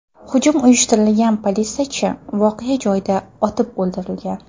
Hujum uyushtirgan politsiyachi voqea joyida otib o‘ldirilgan.